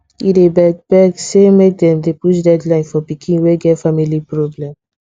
he beg beg say make dem dey push deadline for pikin wey get family problem